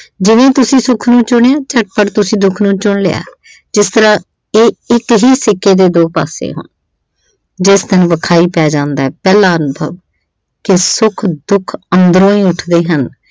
ਜਿਵੇਂ ਈ ਤੁਸੀਂ ਸੁੱਖ ਨੂੰ ਚੁਣਿਆ ਝਟਪਟ ਤੁਸੀਂ ਦੁੱਖ ਨੂੰ ਚੁਣ ਲਿਆ ਜਿਸ ਤਰਾਂ ਇਹ ਇੱਕ ਹੀ ਸਿੱਕੇ ਦੇ ਦੋ ਪਾਸੇ ਹਨ। ਜਿਸ ਦਿਨ ਵਿਖਾਈ ਪੈ ਜਾਂਦਾ ਪਹਿਲਾਂ ਕਿ ਸੁੱਖ ਦੁੱਖ ਅੰਦਰੋਂ ਹੀ ਉੱਠ ਦੇ ਹਨ।